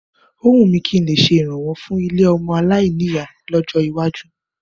Ó wùn mí kí n lè ṣe ìrànwọ́ fún ilé ọmọ aláìní ìyá lọ́jọ́ iwájú.